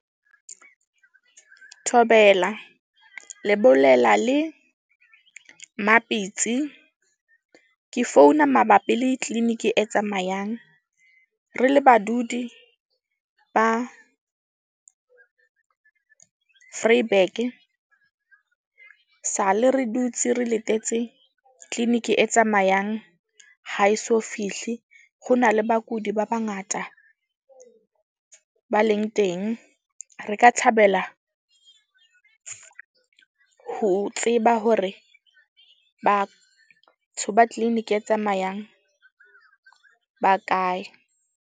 Thobela le bolela le Mapitsi. Ke founa mabapi le clinic-i e tsamayang. Re le badudi ba Vryburg-e sale, re dutse re letetse clinic-i e tsamayang ha eso fihle. Ho na le bakudi ba bangata ba leng teng. Re ka thabela ho tseba hore batho ba clinic-i e tsamayang ba kae.